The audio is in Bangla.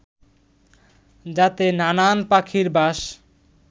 যাতে নানান পাখির বাস